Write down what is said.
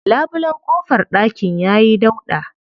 Labulen ƙofar ɗakin ya yi dauɗa.